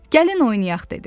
Gəlin oynayaq dedi.